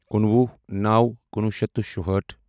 کُنوُہ نَوو کُنوُہ شیٚتھ تہٕ شِہٲٹھ